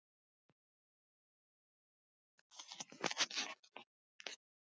Sleppir henni ekki.